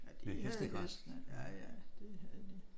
Men de havde hestene ja ja det havde de